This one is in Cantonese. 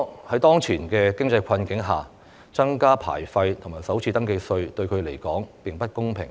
在當前經濟困境下，增加牌費及首次登記稅對他們來說並不公平。